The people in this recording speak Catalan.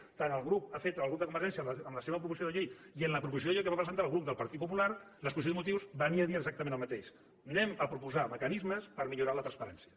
la que ha fet el grup de convergència en la seva proposició de llei i en la proposició de llei que va presentar el grup del partit popular l’exposició de motius venia a dir exactament el mateix anem a proposar mecanismes per millorar en la transparència